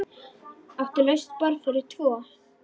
Áttu laust borð fyrir tvo?